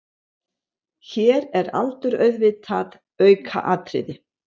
Hér er aldur auðvitað aukaatriði.